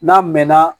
N'a mɛnna